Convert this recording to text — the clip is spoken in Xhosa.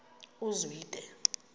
uzwide